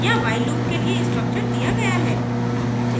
यहाँ while loop के लिए structure दिया गया है